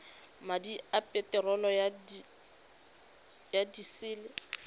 madi a peterolo ya disele